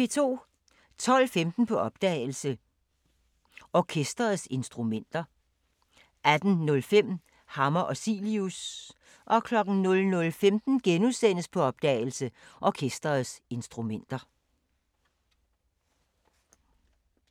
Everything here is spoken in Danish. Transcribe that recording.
12:15: På opdagelse – Orkesterets instrumenter 18:05: Hammer og Cilius 00:15: På opdagelse – Orkesterets instrumenter *